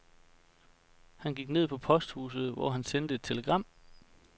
Han gik ned på posthuset, hvor han sendte et telegram.